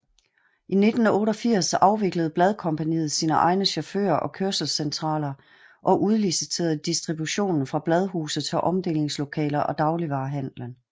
I 1988 afviklede Bladkompagniet sine egne chauffører og kørselscentraler og udliciterede distributionen fra bladhuse til omdelingslokaler og dagligvarehandlen